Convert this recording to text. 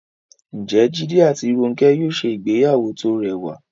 Ǹjẹ́ Jídé àti Rónkẹ́ yóò ṣe ìgbéyàwó tó rẹwà?